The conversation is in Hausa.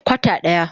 Kwata daya.